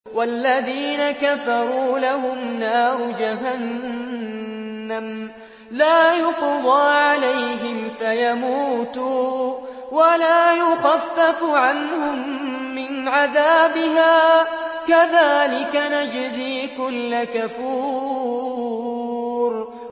وَالَّذِينَ كَفَرُوا لَهُمْ نَارُ جَهَنَّمَ لَا يُقْضَىٰ عَلَيْهِمْ فَيَمُوتُوا وَلَا يُخَفَّفُ عَنْهُم مِّنْ عَذَابِهَا ۚ كَذَٰلِكَ نَجْزِي كُلَّ كَفُورٍ